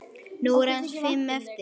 Nú eru aðeins fimm eftir.